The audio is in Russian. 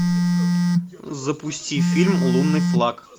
запусти фильм лунный флаг